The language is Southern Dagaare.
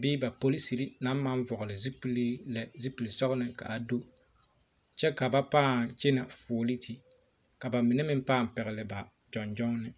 bee ba polisiri naŋ ma vɔgele zupiluu lɛ zupile dɔgele ka a do kyɛ ka ba paa kyɛnɛ fuoliiti ka ba mine meŋ paa pɛgele na gyɔŋ gyɔnne